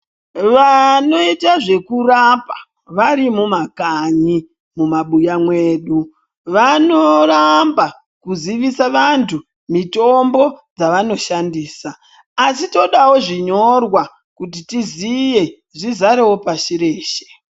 Vaanoite zvekurapa, vari mumakanyi mumabuya mwedu, vanoramba kuzivisa vantu mitombo dzavanoshandisa. Asi todawo zvinyorwa, kuti tiziye zvizarewo pashi reeshe.